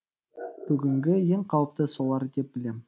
бүгінгі ең қауіпті солар деп білем